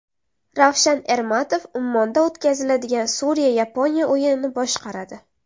Ravshan Ermatov Ummonda o‘tkaziladigan Suriya Yaponiya o‘yinini boshqaradi.